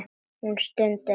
Hún stundi.